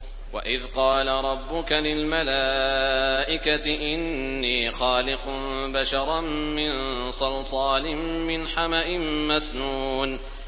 وَإِذْ قَالَ رَبُّكَ لِلْمَلَائِكَةِ إِنِّي خَالِقٌ بَشَرًا مِّن صَلْصَالٍ مِّنْ حَمَإٍ مَّسْنُونٍ